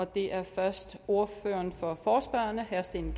det er først ordføreren for forespørgerne herre steen